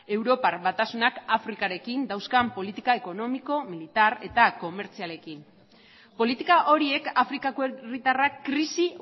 europar batasunak afrikarekin dauzkan politika ekonomiko militar eta komertzialekin politika horiek afrikako herritarrak krisi